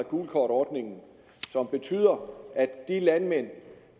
gult kort ordningen og som betyder at de landmænd